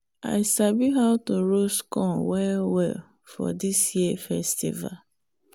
i sabi how to roast corn well well for this year festival.